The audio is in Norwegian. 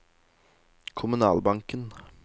kommunalbanken